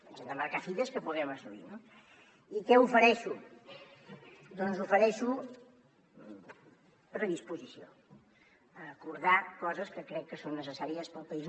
ens hem de marcar fites que puguem assolir no i què ofereixo doncs ofereixo predisposició a acordar coses que crec que són necessàries per al país